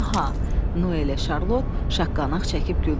Noyelə Şarlot şaqqaq çəkib güldülər.